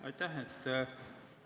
Aitäh!